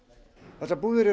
þessar búðir eru